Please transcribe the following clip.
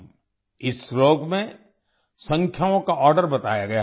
इस श्लोक में संख्याओं का आर्डर बताया गया है